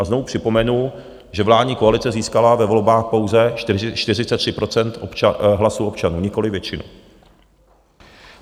A znovu připomenu, že vládní koalice získala ve volbách pouze 43 % hlasů občanů, nikoliv většinu.